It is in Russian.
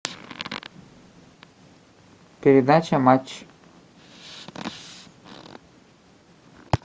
передача матч